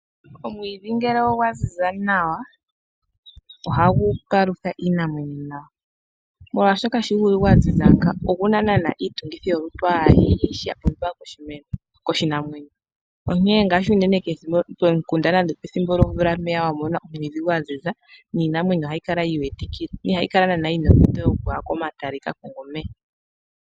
Omwiidhi ngele ogwa zizi nawa ohagu palutha iinamwenyo nawa molwaashoka oyina iitungithilutu aihe mbyoka yapumbiwa koshinamwenyo. Uuna iimeno yaziza nawa niinamwenyo ohayi imonikila komalutu.